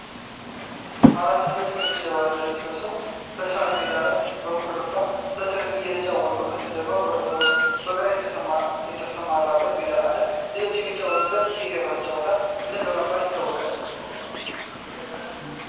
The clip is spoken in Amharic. አራት ልጆች ነጭ የባህል ልብስ ለብሰው፣ በሣር ሜዳ ላይ በኩርባ በትር እየተጫወቱ ነው። ከበስተጀርባ ኮረብታዎችና በግ የተሰማራበት ሜዳ አለ። ልጆቹ የሚጫወቱት ይህ የባህል ጨዋታ ምን በመባል ይታወቃል?